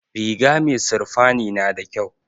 Riga mai sirfani nada kyau